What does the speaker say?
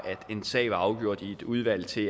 en sag var afgjort i et udvalg til